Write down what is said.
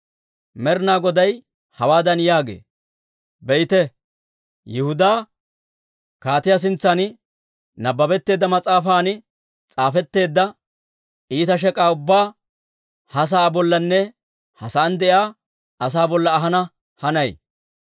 Med'inaa Goday hawaadan yaagee; ‹Be'ite, Yihudaa kaatiyaa sintsan nabbabetteedda mas'aafan s'aafetteedda iita shek'aa ubbaa, ha sa'aa bollanne ha sa'aan de'iyaa asaa bolla ahana hanay.